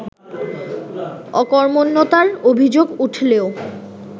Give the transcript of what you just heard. অকর্মণ্যতার অভিযোগ উঠলেও